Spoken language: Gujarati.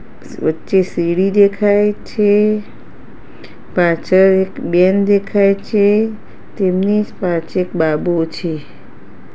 વચ્ચે સીડી દેખાય છે પાછળ એક બેન દેખાય છે તેમની પાચે એક બાબો છે.